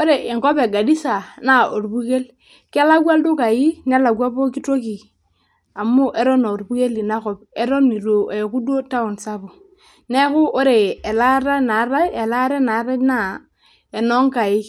Ore enkop. egarisa naa orpukel kelakwa ildukai nelekwa poki toki amu eton aarpukel ina kop eton eitu eeku duo taon sapuk neeku ore elaata naatai naa enoonkaik